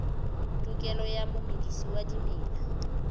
tokelo ya momedisi wa dimela